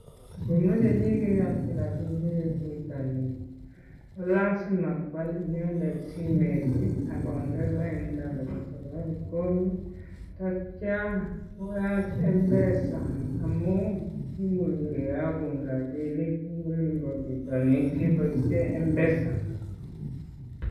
Ngomoche chi kiiyoki rabinik kobun bitonin ko lazima koal inendet simet ii agonde lainda nebo Safaricom, ak kityo koyat M-Pesa. Amun kimuch kiyagun rabinik en olinbo bitonin keboishen M-Pesa.